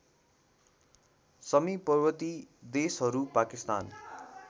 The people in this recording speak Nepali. समीपवर्ती देशहरू पाकिस्तान